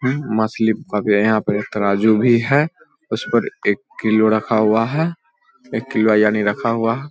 हम्म मछलि का भि है यहाँ पे एक तरजु भी है उसपर एक किलो लिखा हुआ है एककिलबा यानी रखा हुवा है।